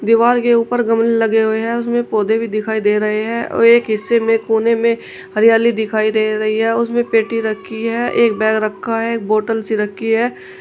दीवार के ऊपर गमले लगे हुए हैं उसमें पौधे भी दिखाई दे रहे हैं और एक हिस्से में कोने में हरियाली दिखाई दे रही है उसमें पेटी रखी है एक बैग रखा है एक बॉटल सी रखी है।